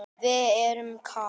Við erum kát.